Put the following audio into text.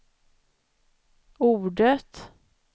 ordet